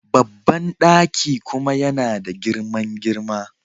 Babban daki kuma yana da girman girma..